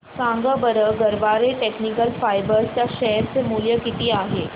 सांगा बरं Garware technical fibres च्या शेअर चे मूल्य किती आहे